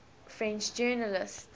french journalists